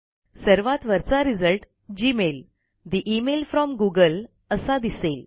सर्वात वरचा result Gmail ठे इमेल फ्रॉम गूगल असा दिसेल